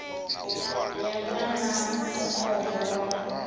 ya vha na mukovhe wa